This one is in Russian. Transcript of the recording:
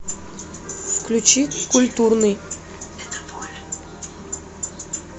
включи культурный